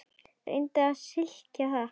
Reyndu að skilja það!